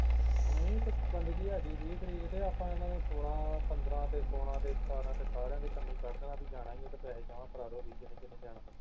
ਨਹੀਂ ਤੇ ਬੰਦਗੀ ਹੈਗੀ ਵੀਹ ਤਰੀਕ ਤੇ ਆਪਾ ਇਹਨਾਂ ਸੋਲਾਂ ਪੰਦਰਾਂ ਤੇ ਸੋਲਾਂ ਤੇ ਸਤਾਰਾਂ ਤੇ ਸਾਰਿਆਂ ਦੇ ਕੰਨੀ ਕੱਢ ਦੇਣਾ ਬਈ ਜਾਣਾ ਜੇ ਤੇ ਪੈਹੇ ਜਮਾ ਕਰਾ ਦਿਓ ਵੀ ਜਿਹਨੇ ਜਿਹਨੇ ਜਾਣਾ